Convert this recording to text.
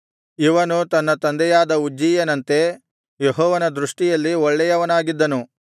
ಇವನು ತನ್ನ ತಂದೆಯಾದ ಉಜ್ಜೀಯನಂತೆ ಯೆಹೋವನ ದೃಷ್ಟಿಯಲ್ಲಿ ಒಳ್ಳೆಯವನಾಗಿದ್ದನು